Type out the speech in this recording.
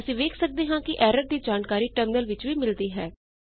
ਅਸੀ ਵੇਖ ਸਕਦੇ ਹਾਂ ਕਿ ਐਰਰ ਦੀ ਜਾਣਕਾਰੀ ਟਰਮਿਨਲ ਵਿੱਚ ਵੀ ਮਿਲਦੀ ਹੈ